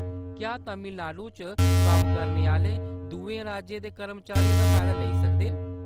क्या तमिलनाडु च कम्म करने आह्‌‌‌ले दुए राज्यें दे कर्मचारी एह्‌‌‌दा फायदा लेई सकदे न ?